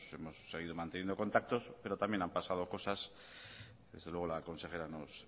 hemos seguido manteniendo contactos pero también han pasado cosas desde luego la consejera nos